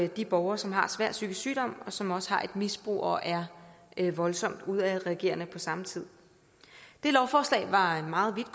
de borgere som har svær psykisk sygdom og som også har et misbrug og er er voldsomt udadreagerende på samme tid det lovforslag var meget